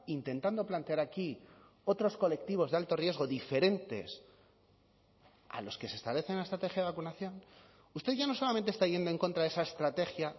intentando plantear aquí otros colectivos de alto riesgo diferentes a los que se establecen la estrategia de vacunación usted ya no solamente está yendo en contra de esa estrategia